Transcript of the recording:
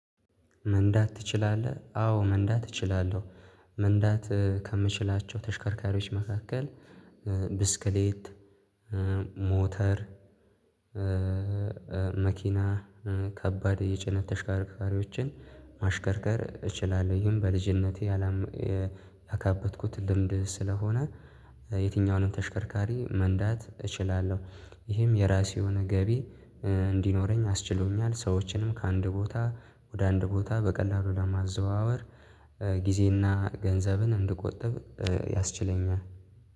መንዳት ትችላለህ አዎ መንዳት እችላለሁ። መንዳት ከምችላቸው ተሽከርካሪዎች መካከል ብስክሌት ሞተር መኪና ከባድ የጭነት ተሽከርካሪዎችን ማሽከርከር እችላለሁ። ይሄን በልጅነቴ ያካበትኩት ልምድ ስለሆነ የትኛውንም ተሽከርካሪ መንዳት እችላለሁ። ይሄም የራሴ የሆነ ገቢ እንዲኖረኝ አስችሎኛል። ሰዎችንም ከአንድ ቦታ ወደ አንድ ቦታ በቀላሉ ለማዘዋወር ጊዜና ገንዘብን እንድቆጥብ ያስችለኛል።